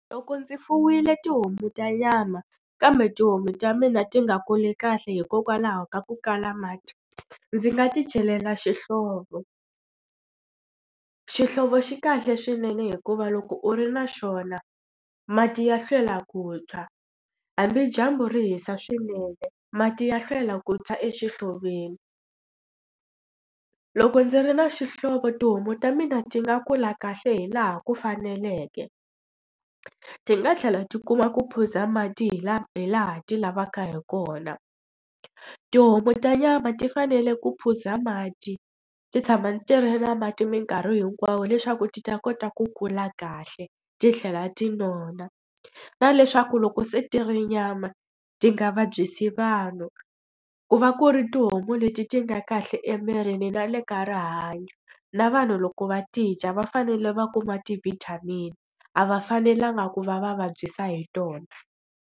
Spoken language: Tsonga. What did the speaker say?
Loko ndzi fuwile tihomu ta nyama kambe tihomu ta mina ti nga kuli kahle hikokwalaho ka ku kala mati, ndzi nga ti celela xihlovo. Xihlovo xi kahle swinene hikuva loko u ri na xona mati ya hlwela ku tshwa, hambi dyambu ri hisa swinene mati ya hlwela ku tshwa exihloveni. Loko ndzi ri na xihlovo tihomu ta mina ti nga kula kahle hi laha ku faneleke, ti nga tlhela ti kuma ku phuza mati hi laha hi laha ti lavaka hi kona. Tihomu ta nyama ti fanele ku phuza mati, ti tshama ti ri na mati mikarhi hinkwawo leswaku ti ta kota ku kula kahle titlhela ti nona. Na leswaku loko se ti ri nyama, ti nga vabyisi vanhu. Ku va ku ri tihomu leti ti nga kahle emirini na le ka rihanyo, na vanhu loko va ti dya va fanele va kuma ti-vitamin, a va fanelanga ku va va vabyisa hi tona.